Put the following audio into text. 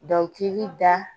Dɔnkili da